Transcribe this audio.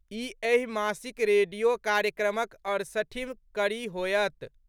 ई एहि मासिक रेडियो कार्यक्रमक अड़सठिम कड़ी होएत।